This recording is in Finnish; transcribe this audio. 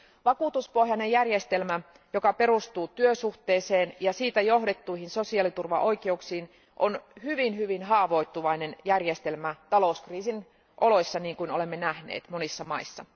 Vakuutuspohjainen järjestelmä, joka perustuu työsuhteeseen ja siitä johdettuihin sosiaaliturvaoikeuksiin, on hyvin hyvin haavoittuvainen järjestelmä talouskriisin oloissa, niin kuin olemme nähneet monissa maissa.